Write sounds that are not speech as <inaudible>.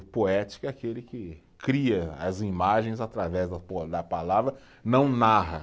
O poético é aquele que cria as imagens através <unintelligible> da palavra, não narra.